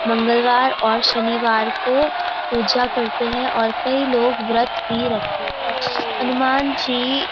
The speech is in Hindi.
मंगलवार और शनिवार को पूजा करते हैं और कई लोग व्रत भी रखते हैं हनुमान जी --